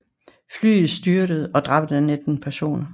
Flyet styrtede og dræbte 19 personer